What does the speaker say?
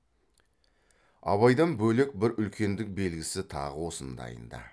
абайдан бөлек бір үлкендік белгісі тағы осындайында